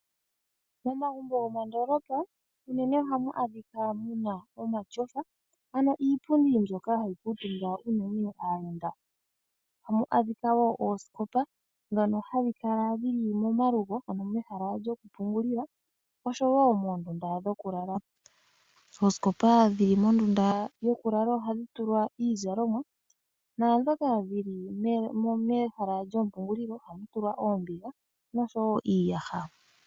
Momagumbo gomondoolopa unene ohamu adhika mu na omatyofa ano iipundi mbyoka hayi kuutumba unene aayenda. Ohamu adhika wo oosikopa ndhono hadhi kala dhi li momalugo, ano mehala lyokupungulila nosho wo moondunda dhokulala. Oosikopa dhi li mondunda yokulala ohadhi tulwa iizalomwa naandhoka dhi li mehala lyompungulilo ohadhi tulwa oombiga nosho wo iiyaha.